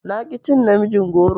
Na ƙi cin namijin goron.